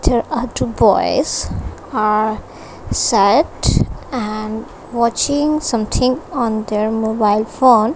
there are two boys are set and watching something on their mobile phone.